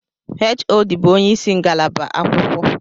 HOD bu onyeisi ngalaba akwụkwọ